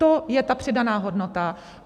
To je ta přidaná hodnota.